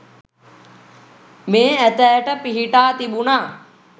මේ ඇතාට පිහිටා තිබුනා.